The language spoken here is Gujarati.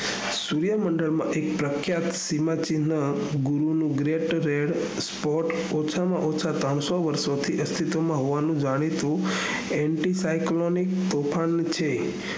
સૂર્ય મન્ડળ માં એક પ્રખ્યાત સીમા ચિન્હ ગુરુનું grap red spot ઓછા માંઓછુ ત્રણસો વારસો થી હોવાનું જાણી શું anti cyclonic તોફાન છે